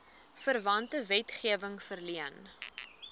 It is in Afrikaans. verwante wetgewing verleen